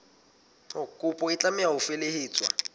kopo e tlameha ho felehetswa